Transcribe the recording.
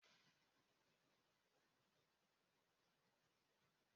Paul yóò dì ọmọ ilé-ìwé ní ilé-ìwé yen.